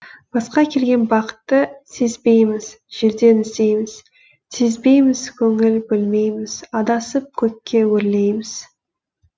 басқа келген бақытты сезбейміз желден іздейміз сезбейміз көңіл бөлмейміз адасып көкке өрлейміз